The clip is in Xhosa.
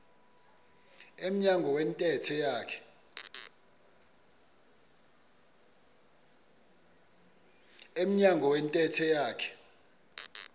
emnyango wentente yakhe